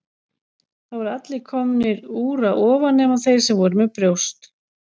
Það voru allir komnir úr að ofan nema þeir sem voru með brjóst.